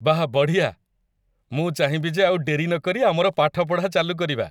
ବାଃ, ବଢ଼ିଆ! ମୁଁ ଚାହିଁବି ଯେ ଆଉ ଡେରି ନକରି ଆମର ପାଠପଢ଼ା ଚାଲୁ କରିବା !